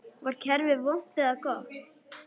Var kerfið vont eða gott?